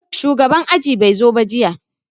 Shugaban aji bai zo jiya ba